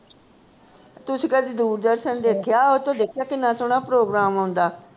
ਤੁਸੀ ਕਦੀ ਦੂਰਦਰਸ਼ਨ ਦੇਖਿਆ ਓਹ ਤੋਂ ਦੇਖਿਆ ਕਿੰਨਾ ਸੋਹਣਾ ਪ੍ਰੋਗਰਾਮ ਆਉਂਦਾ